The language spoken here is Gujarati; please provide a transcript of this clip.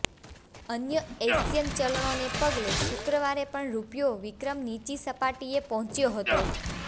અન્ય એશિયન ચલણોને પગલે શુક્રવારે પણ રૂપિયો વિક્રમ નીચી સપાટીએ પહોંચ્યો હતો